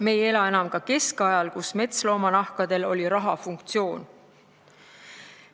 Me ei ela enam ka keskajal, kui metsloomanahkadel oli raha funktsioon.